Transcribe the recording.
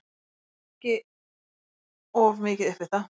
Hann kippti sér ekki of mikið upp við það.